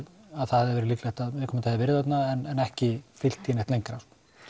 að það væri líklegt að viðkomandi hafi verið þarna en ekki fylgt því neitt lengra